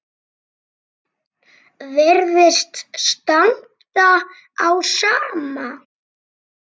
Virðist standa á sama.